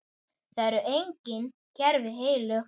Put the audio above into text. Það eru engin kerfi heilög.